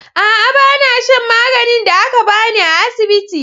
A'a, ba na shan maganin da aka ba ni a asibiti.